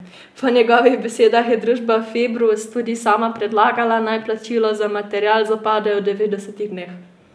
Po njegovih besedah je družba Februs tudi sama predlagala, naj plačilo za material zapade v devetdesetih dneh.